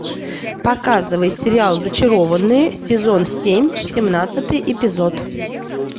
показывай сериал зачарованные сезон семь семнадцатый эпизод